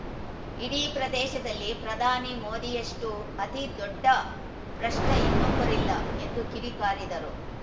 ಇಡೀ ಪ್ರದೇಶದಲ್ಲಿ ಪ್ರಧಾನಿ ಮೋದಿಯಷ್ಟುಅತಿ ದೊಡ್ಡ ಭ್ರಷ್ಟಇನ್ನೊಬ್ಬರಿಲ್ಲ ಎಂದು ಕಿಡಿ ಕಾರಿದರು